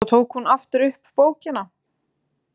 Svo tók hún aftur upp bókina.